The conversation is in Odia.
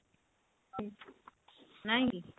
ନାଇଁ କି ?